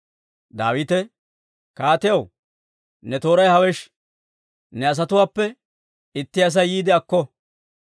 Daawite, «Kaatiyaw, ne tooray hawesh; ne asatuwaappe itti Asay yiide akko.